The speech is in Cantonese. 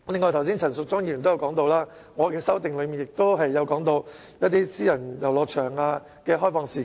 此外，陳淑莊議員剛才提到，我在修正案內提及私人遊樂場的開放時間。